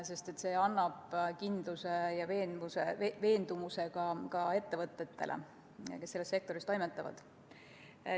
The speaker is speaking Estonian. See annab kindluse ja veendumuse ka ettevõtetele, kes selles sektoris toimetavad.